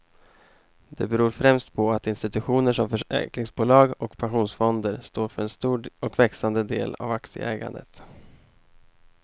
Det beror främst på att institutioner som försäkringsbolag och pensionsfonder står för en stor och växande del av aktieägandet.